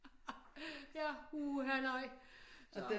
Ja uha nej